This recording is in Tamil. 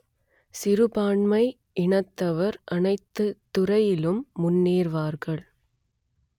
சிறுபான்மை இனத்தவர் அனைத்துத் துறையிலும் முன்னேறுவார்கள்